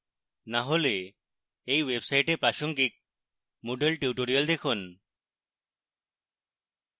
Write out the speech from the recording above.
না হলে এই website প্রাসঙ্গিক moodle tutorials দেখুন